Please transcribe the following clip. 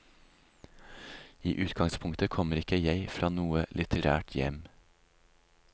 I utgangspunktet kommer ikke jeg fra noe litterært hjem.